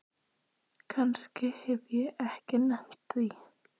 Kannski hef ég ekki nennt því.